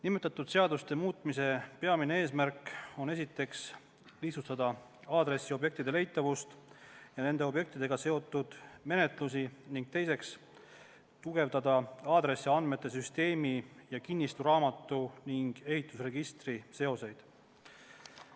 Nimetatud seaduste muutmise peamine eesmärk on, esiteks, lihtsustada aadressiobjektide leitavust ja nende objektidega seotud menetlusi ning, teiseks, tugevdada aadressiandmete süsteemi ja kinnistusraamatu ning ehitusregistri seoseid.